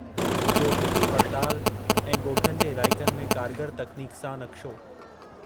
गो॒ठनि जी पड़ताल ऐं गो॒ठनि जे इलाइक़नि में कारगर तकनीक सां नक़्शो